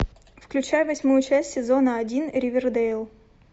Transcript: включай восьмую часть сезона один ривердейл